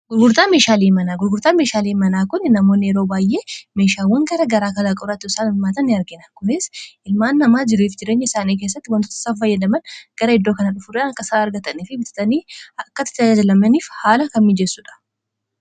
hgurgurtaa meeshaalii manaa kon in namoonni yeroo baay'ee meeshaawwan gara garaa kalaaqourrai saan ilmaata ni argina kunis ilmaan namaa jiriif jirenya isaanii keessatti wantoota saf fayyadaman gara iddoo kana dhufudan akasaa argatane fi bitatanii akkatai ta ajaajalamaniif haala kan miijeessuudha